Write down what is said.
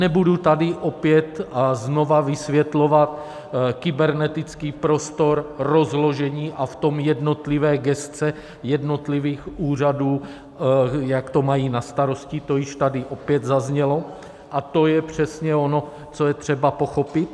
Nebudu tady opět a znova vysvětlovat kybernetický prostor, rozložení a v tom jednotlivé gesce jednotlivých úřadů, jak to mají na starosti, to již tady opět zaznělo, a to je přesně ono, co je třeba pochopit.